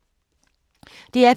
DR P2